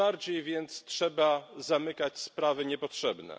Tym bardziej więc trzeba zamykać sprawy niepotrzebne.